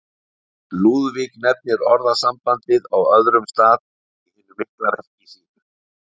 Lúðvík nefnir orðasambandið á öðrum stað í hinu mikla verki sínu.